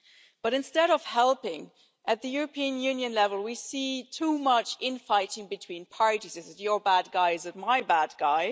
But, instead of helping, at the European Union level we see too much infighting between parties is it your bad guys or my bad guy?'